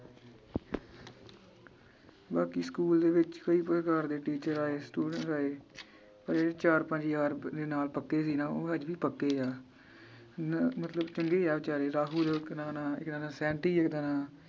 ਬਾਕੀ ਸਕੂਲ ਦੇ ਵਿਚ ਕਈ ਪ੍ਰਕਾਰ ਦੇ teacher ਆਏ student ਆਏ ਪਰ ਇਹ ਚਾਰ ਪੰਜ ਯਾਰ ਦੇ ਨਾਲ ਪੱਕੇ ਸੀ ਨਾ ਉਹ ਅੱਜ ਵੀ ਪੱਕੇ ਆ ਨ ਮਤਲਬ ਚੰਗੇ ਆ ਬੇਚਾਰੇ ਰਾਹੁਲ ਇੱਕ ਦਾ ਨਾਂ ਇਕ ਦਾ ਨਾਂ ਸੇਂਟੀ ਇੱਕ ਦਾ ਨਾਂ